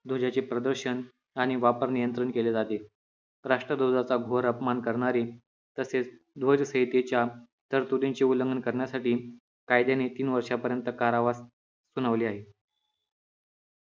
ध्वजाचे प्रदर्शन आणि वापर नियंत्रण केले जाते राष्ट्र ध्वजाचा घोर अपमान करणारे तसेच ध्वज संहितेच्या तरतुदींचे उल्लंघन करण्यासाठी कायद्याने तीन वर्षांपर्यंत कारावास सुनावले आहे